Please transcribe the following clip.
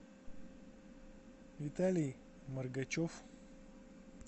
виталий моргачев